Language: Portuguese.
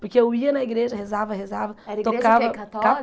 Porque eu ia na igreja, rezava, rezava tocava... Era igreja o que católica?